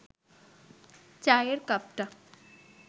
চায়ের কাপটা